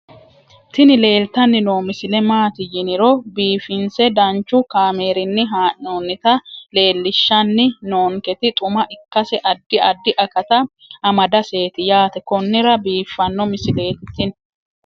tini leeltanni noo misile maaati yiniro biifinse danchu kaamerinni haa'noonnita leellishshanni nonketi xuma ikkase addi addi akata amadaseeti yaate konnira biiffanno misileeti tini